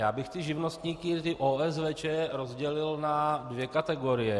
Já bych ty živnostníky, ty OSVČ rozdělil na dvě kategorie.